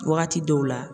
Wagati dɔw la